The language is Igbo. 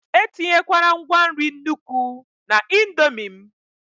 etinyekwala ngwa nri n'nukwu na indomie m!